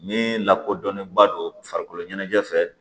Min lakodɔnnenba don farikolo ɲɛnajɛ fɛ